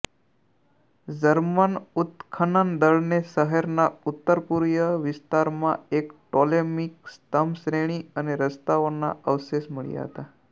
German ઉત્ખનન દળને શહેરના ઉત્તરપૂર્વિય વિસ્તારમાં એક ટોલેમિક સ્તંભશ્રેણી અને રસ્તાઓના અવશેષ મળ્યા હતા